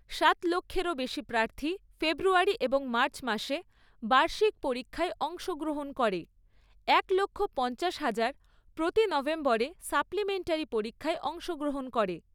সাত লক্ষেরও বেশি প্রার্থী ফেব্রুয়ারি এবং মার্চ মাসে বার্ষিক পরীক্ষায় অংশগ্রহণ করে, এক লক্ষ পঞ্চাশ হাজার প্রতি নভেম্বরে সাপ্লিমেন্টারী পরীক্ষায় অংশগ্রহণ করে।